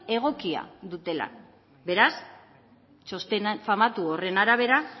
egokia dutela beraz txosten famatu horren arabera